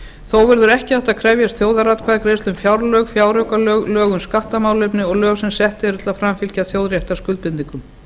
þó verður ekki hægt að krefjast þjóðaratkvæðagreiðslu um fjárlög fjáraukalög lög um skattamálefni og lög sem sett eru til að framfylgja þjóðréttarskuldbindingum